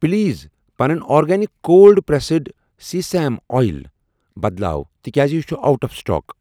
Please پنن organic cold pressed sesame oil بدلاو تِکیٛازِ یہِ چھ اوٹ آف سٹاک۔